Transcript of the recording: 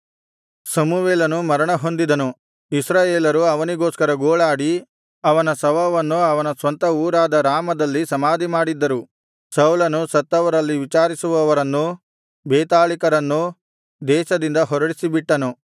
ಸಮುವೇಲನು ಮರಣ ಹೊಂದಿದನು ಇಸ್ರಾಯೇಲರು ಅವನಿಗೋಸ್ಕರ ಗೋಳಾಡಿ ಅವನ ಶವವನ್ನು ಅವನ ಸ್ವಂತ ಊರಾದ ರಾಮದಲ್ಲಿ ಸಮಾಧಿಮಾಡಿದ್ದರು ಸೌಲನು ಸತ್ತವರಲ್ಲಿ ವಿಚಾರಿಸುವವರನ್ನೂ ಬೇತಾಳಿಕರನ್ನೂ ದೇಶದಿಂದ ಹೊರಡಿಸಿಬಿಟ್ಟನು